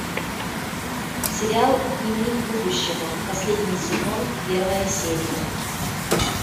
сериал дневник будущего последний сезон первая серия